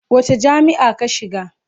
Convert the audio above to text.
Wace jami'a ka shiga?